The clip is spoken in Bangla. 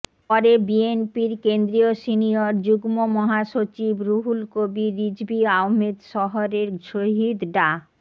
পরে বিএনপির কেন্দ্রীয় সিনিয়র যুগ্ম মহাসচিব রুহুল কবীর রিজভী আহমেদ শহরের শহীদ ডা